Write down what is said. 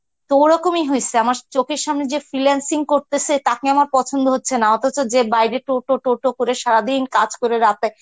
তো ওরকমই হইসে আমার চোখের সামনে যে freelancing করতেছে তাকে আমার পছন্দ হচ্ছে না অথচ যে বাইরে টোটো টোটো করে সারাদিন কাজ করে রাতে